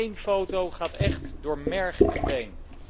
Eén foto gaat echt door merg en been.